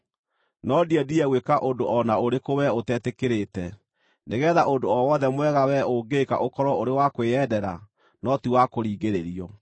No ndiendire gwĩka ũndũ o na ũrĩkũ wee ũtetĩkĩrĩte, nĩgeetha ũndũ o wothe mwega wee ũngĩka ũkorwo ũrĩ wa kwĩyendera no ti wa kũringĩrĩrio.